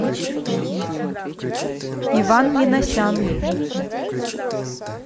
иван миносян